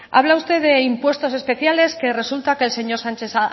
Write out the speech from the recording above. habla usted de impuestos especiales que resulta que el señor sánchez